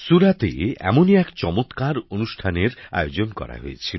সুরাতে এমনই এক সুন্দর অনুষ্ঠানের আয়োজন করা হয়েছিল